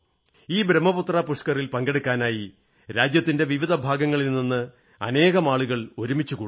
ഈ ബ്രഹ്മപുത്ര പുഷ്കറിൽ പങ്കെടുക്കുന്നതിനായി രാജ്യത്തിന്റെ വിവിധ ഭാഗങ്ങളിൽ നിന്ന് അനേകം ആളുകൾ ഒരുമിച്ചുകൂടുന്നു